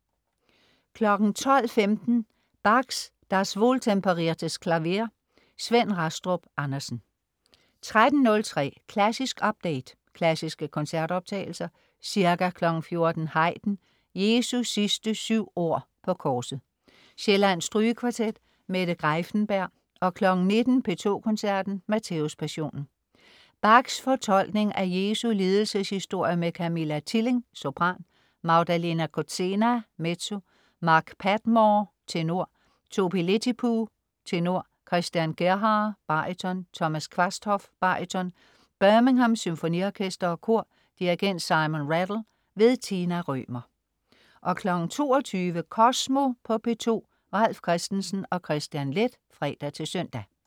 12.15 Bachs Das Wohltemperierte Klavier. Svend Rastrup Andersen 13.03 Klassisk update. Klassiske koncertoptagelser. Ca. 14.00 Haydn: Jesu sidste syv ord på korset. Sjællands Strygekvartet. Mette Greiffenberg 19.00 P2 Koncerten. Matthæuspassionen. Bachs fortolkning af Jesu lidelseshistorie med Camilla Tilling, sopran, Magdalena Kozena, mezzo, Mark Padmore, tenor, Topi Lehtipuu, tenor, Christian Gerhaher, baryton, Thomas Quasthoff, baryton. Birmingham Symfoniorkester og Kor. Dirigent: Simon Rattle. Tina Rømer 22.00 Kosmo på P2. Ralf Christensen og Kristian Leth (fre-søn)